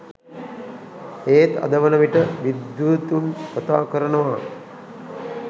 ඒත් අද වනවිට විද්වතුන් කථා කරනවා